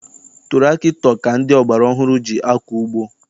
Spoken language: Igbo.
Tụrakịtọ ka ndị ọgbara ọhụrụ ji akọ ugbo.